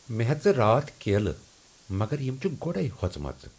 مےٚ ہیٚژٕ راتھ کیلہٕ مگر یِم چِھ گۄڈٕے ہۄژمَژٕ۔